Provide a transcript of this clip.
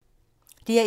DR1